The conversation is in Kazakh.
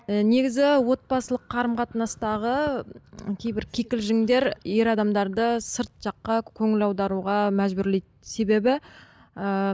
і негізі отбасылық қарым қатынастағы кейбір кикілжіңдер ер адамдарды сырт жаққа көңіл аударуға мәжбүрлейді себебі ыыы